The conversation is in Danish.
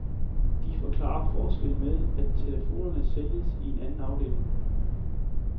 De forklarer forskellen med, at telefonerne sælges i en anden afdeling.